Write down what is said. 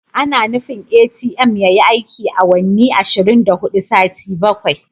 Ana nufin ATM yayi aiki awanni ashirin da hudu sati bakwai.